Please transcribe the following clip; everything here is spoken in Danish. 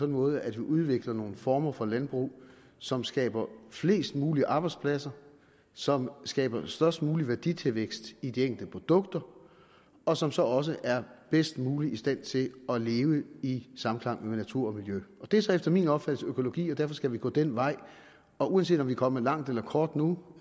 måde at vi udvikler nogle former for landbrug som skaber flest mulige arbejdspladser som skaber størst mulig værditilvækst i de enkelte produkter og som så også er bedst muligt i stand til at leve i samklang med natur og miljø det er så efter min opfattelse økologi og derfor skal vi gå den vej og uanset om vi er kommet langt eller kort nu